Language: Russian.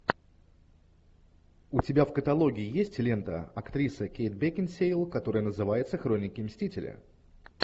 у тебя в каталоге есть лента актриса кейт бекинсейл которая называется хроники мстителя